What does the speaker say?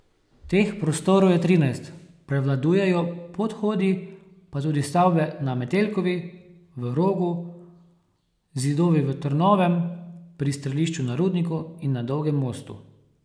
Teh prostorov je trinajst, prevladujejo podhodi, pa tudi stavbe na Metelkovi, v Rogu, zidovi v Trnovem, pri strelišču na Rudniku in na Dolgem mostu.